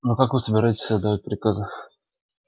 но как вы собираетесь отдавать приказы